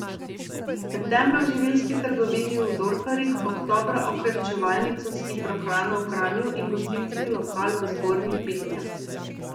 Septembra v živilski trgovini v Dorfarjih, oktobra okrepčevalnico s hitro hrano v Kranju in gostinski lokal v Zgornjih Bitnjah.